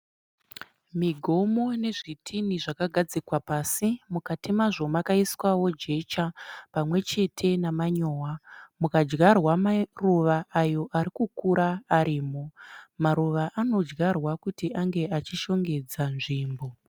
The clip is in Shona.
Migomo nezvitini zvakagadzikwa pasi. Mukati mazvo makaiswawo jecha pamwe chete namanyowa mukadyarwa maruva ayo arikukura arimo. Maruva anodyarwa kuti ange achishongedza nzvimbo.